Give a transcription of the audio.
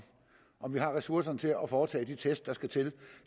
at vi har ressourcerne til at foretage de test der skal til